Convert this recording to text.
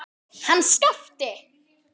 Hann Skapti!